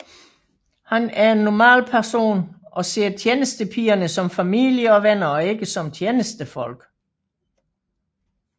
Han er en normal person og ser tjenestepigerne som familie og venner og ikke som tjenestefolk